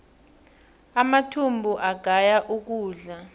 amathumbu agaya ukudla